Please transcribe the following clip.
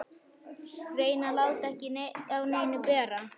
Reyni að láta ekki á neinu bera.